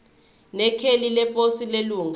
nekheli leposi lelunga